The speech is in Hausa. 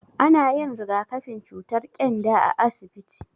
Ana yin rigakafin cutar ƙyanda a asibiti.